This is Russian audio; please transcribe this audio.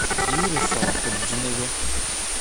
юре салахутдинове